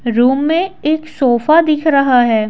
Room में एक sofa दिख रहा है।